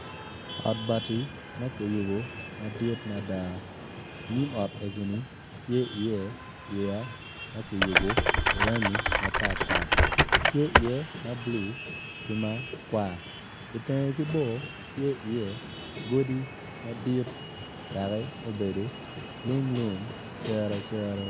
Ot bati ma kiyubu madit mada nyim ot egoni tye i iye yeya ma ki yubu iranggi mapat pat tye i iye ma bulu ki makwar itenge ki bor tye iye godi madit dakki obedo lung lung cere cere